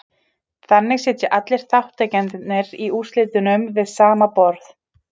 Þannig sitja allir þátttakendurnir í úrslitunum við sama borð.